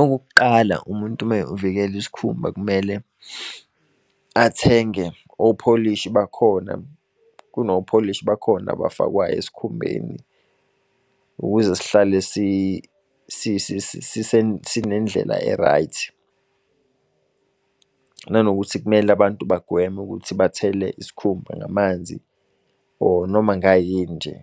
Okokuqala umuntu uma uvikela isikhumba, kumele athenge opholishi bakhona. Kunopholishi bakhona abafakwayo esikhumbeni, ukuze sihlale sinendlela e-right. Nanokuthi kumele abantu bagwemwe ukuthi bhathele isikhumba ngamanzi or noma ngayini nje